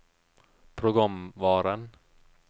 programvaren